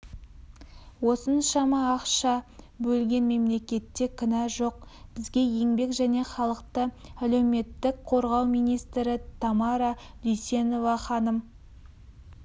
осыншама ақша бөлген мемлекетте кінә жоқ бізге еңбек және халықты әлеуметтік қорғау министрі тамара дүйсенова ханым